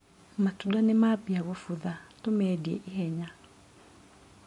Matunda nĩmambia kũbutha, tũmendie ihenya.